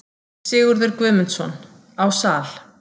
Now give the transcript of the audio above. Sigurður Guðmundsson: Á Sal.